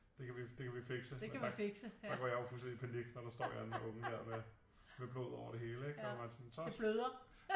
Det kan vi det kan vi fikse og der går jeg jo fuldstændig i panik når der står en eller anden unge der med blod ud over det hele ikke